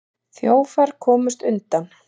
Þjófar komust undan.